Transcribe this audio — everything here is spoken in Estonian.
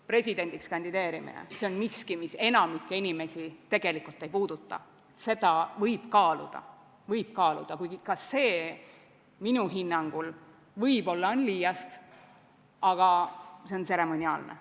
Presidendiks kandideerimine – see on miski, mis enamikku inimesi tegelikult ei puuduta –, seda võib kaaluda, kuigi ka see minu hinnangul võib-olla on liiast, aga see on tseremoniaalne.